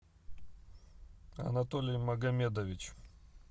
анатолий магомедович